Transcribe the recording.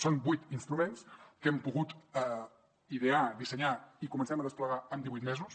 són vuit instruments que hem pogut idear dissenyar i comencem a desplegar en divuit mesos